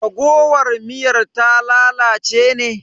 Raguwar miyar ta lalace ne?